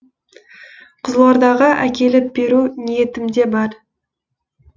қызылордаға әкеліп беру ниетімде бар